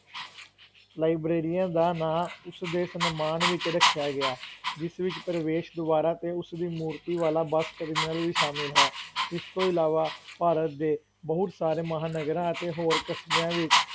ਲਾਈਬ੍ਰੇਰੀਆਂ ਦਾ ਨਾਂ ਉਸ ਦੇ ਸਨਮਾਨ ਵਿੱਚ ਰੱਖਿਆ ਗਿਆ, ਜਿਸ ਵਿੱਚ ਪ੍ਰਵੇਸ਼ ਦੁਆਰਾ 'ਤੇ ਉਸ ਦੀ ਮੂਰਤੀ ਵਾਲਾ ਬੱਸ terminal ਵੀ ਸ਼ਾਮਿਲ ਹੈ, ਇਸ ਤੋਂ ਇਲਾਵਾ ਭਾਰਤ ਦੇ ਬਹੁਤ ਸਾਰੇ ਮਹਾਨਗਰਾਂ ਅਤੇ ਹੋਰ ਕਸਬਿਆਂ ਵਿੱਚ,